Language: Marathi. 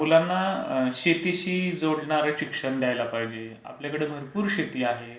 मुलांना शेतीशी जोडणारे शिक्षण द्यायला पाहिजे. आपल्याकडे भरपूर शेती आहे.